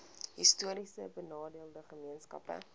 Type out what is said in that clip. histories benadeelde gemeenskappe